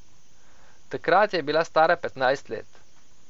Takrat je bila stara petnajst let.